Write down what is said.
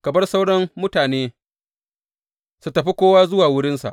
Ka bar sauran mutane su tafi kowa zuwa wurinsa.